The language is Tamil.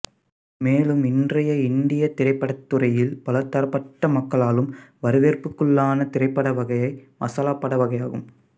மேலும் இன்றைய இந்தியத் திரைப்படத்துறையில் பலதரப்பட்ட மக்களாலும் வரவேற்புக்குள்ளான திரைப்படவகை மசாலாப்பட வகையாகும்